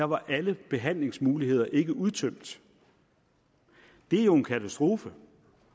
var alle behandlingsmuligheder ikke udtømt det er jo en katastrofe